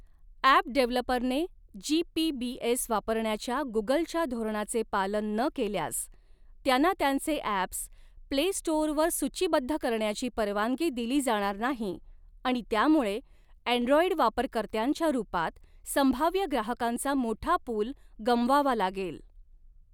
App डेव्हलपरने G P B S वापरण्याच्या गुगलच्या धोरणाचे पालन न केल्यास, त्यांना त्यांचे ॲप्स प्ले स्टोअरवर सूचीबद्ध करण्याची परवानगी दिली जाणार नाही आणि त्यामुळे, ॲंड्रॉंइड वापरकर्त्यांच्या रूपात संभाव्य ग्राहकांचा मोठा पूल गमावावा लागेल.